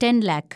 ten lakh